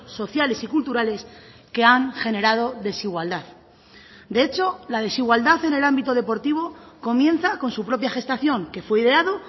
sociales y culturales que han generado desigualdad de hecho la desigualdad en el ámbito deportivo comienza con su propia gestación que fue ideado